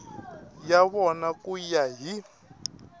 ya vona ku ya hi